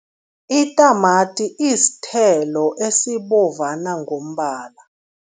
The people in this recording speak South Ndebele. Itamati isithelo esibovana ngombala.